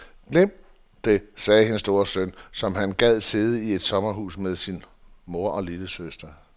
Glem det, sagde hendes store søn, som om han gad sidde i et sommerhus med sin mor og lillesøster.